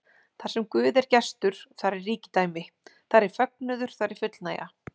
Þarsem Guð er gestur, þar er ríkidæmi, þar er fögnuður, þar er fullnægja.